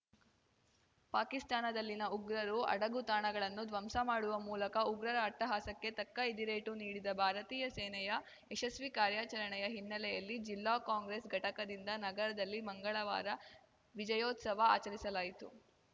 ಪಾಕಿಸ್ತಾನದಲ್ಲಿನ ಉಗ್ರರು ಅಡಗು ತಾಣಗಳನ್ನು ಧ್ವಂಸ ಮಾಡುವ ಮೂಲಕ ಉಗ್ರರ ಅಟ್ಟಹಾಸಕ್ಕೆ ತಕ್ಕ ಎದಿರೇಟು ನೀಡಿದ ಭಾರತೀಯ ಸೇನೆಯ ಯಶಸ್ವಿ ಕಾರ್ಯಾಚರಣೆಯ ಹಿನ್ನೆಲೆಯಲ್ಲಿ ಜಿಲ್ಲಾ ಕಾಂಗ್ರೆಸ್‌ ಘಟಕದಿಂದ ನಗರದಲ್ಲಿ ಮಂಗಳವಾರ ವಿಜಯೋತ್ಸವ ಆಚರಿಸಲಾಯಿತು